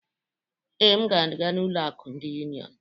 Ee, m ga-aga n'ụlọ akụ ndị Union.